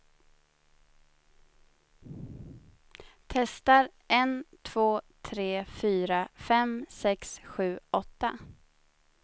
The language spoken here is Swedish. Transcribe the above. Testar en två tre fyra fem sex sju åtta.